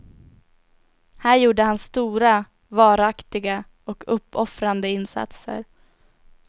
Här gjorde han stora, varaktiga och uppoffrande insatser.